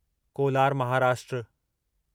Kolar Maharashtra